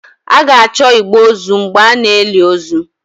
A ga-achọ igbe ozu mgbe a na-eli ozu